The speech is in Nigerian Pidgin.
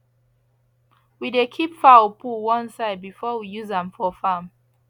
we dey keep fowl poo one side before we use am for farm